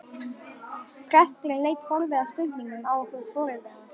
Presturinn leit forviða spurnaraugum á okkur foreldrana.